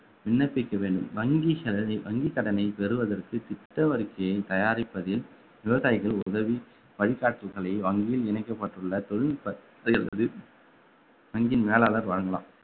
விண்ணப்பிக்க வேண்டும் வங்கி செலவில் வங்கி கடனை பெறுவதற்கு திட்ட வரிக்கையை தயாரிப்பதில் விவசாயிகள் உதவி வழிகாட்டுதல்களை வங்கியில் இணைக்கப்பட்டுள்ள தொழில்நுட்பத்தை அல்லது வங்கியின் மேலாளர் வழங்கலாம்